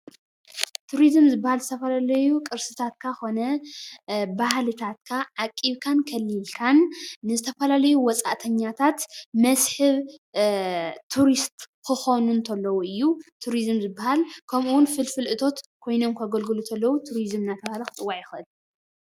ቱሪዝም ዝበሃሉ ዝተፈላለዩ ቅርስታት ካ ኮነ ባህልታትካ ዓቂብካን ከሊልካን ንዝተፈላለዩ ወፃእተኛታት መስሕብ ቱሪስት ክኮኑ ተለው እዩ ቱሪዝም ዝበሃል ከምኡ እውን ፍልፍል እቶት ኮይኖም ከገልግሉ ተለው ቱሪዝም እናተበሃለ ክፅዋዕ ይኽእል።